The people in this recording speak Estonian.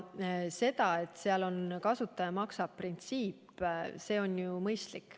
See, et seal on sätestatud kasutaja-maksab-printsiip, on mõistlik.